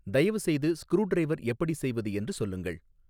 தயவுசெய்து ஸ்க்ரூடிரைவர் எப்படி செய்வது என்று சொல்லுங்கள்